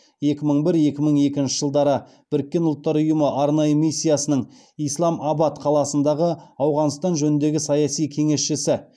екі мың бір екі мың екінші жылдары біріккен ұлттар ұйымы арнайы миссиясының исламабад қаласындағы ауғанстан жөніндегі саяси кеңесшісі